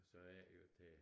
Så er det jo til